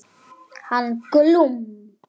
Hann Glúm.